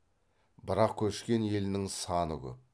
бірақ көшкен елінің саны көп